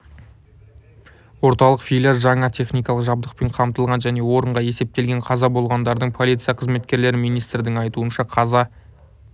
орталық филиал жаңа техникалық жабдықпен қамтылған және орынға есептелген қаза болғандардың полиция қызметкерлері министрдің айтуынша қаза